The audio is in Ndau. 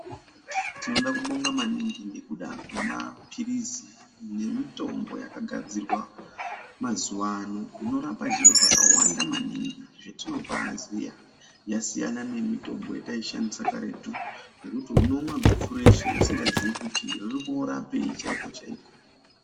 Tinoda kubonga maninga ngekuda kwemapirizi nemitombo yakagadzirwa mazuwa ano inorapa zviro zvakawanda maningi zvetinobaaziya yasiyana nemitombo yetaishandisa kudhaya yekuti unomwa guchu rese usikazii kuti riri koorapei chaiko chaiko .